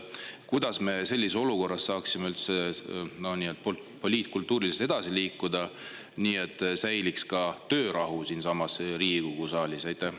Kuidas saame me sellises olukorras poliitkultuuriliselt edasi liikuda, nii et töörahu siin Riigikogu saalis säiliks?